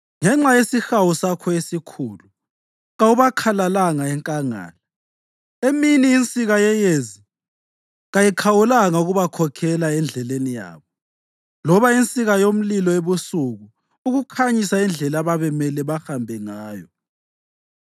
Ngenxa yesihawu sakho esikhulu kawubakhalalanga enkangala. Emini insika yeyezi kayikhawulanga ukubakhokhela endleleni yabo, loba insika yomlilo ebusuku ukukhanyisa indlela ababemele bahambe ngayo.